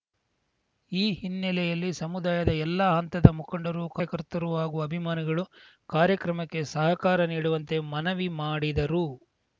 ಈ ಹಿನ್ನೆಲೆಯಲ್ಲಿ ಸಮುದಾಯದ ಎಲ್ಲ ಹಂತದ ಮುಖಂಡರು ಕಾರ್ಯಕರ್ತರು ಹಾಗೂ ಅಭಿಮಾನಿಗಳು ಕಾರ್ಯಕ್ರಮಕ್ಕೆ ಸಹಕಾರ ನೀಡುವಂತೆ ಮನವಿ ಮಾಡಿದರು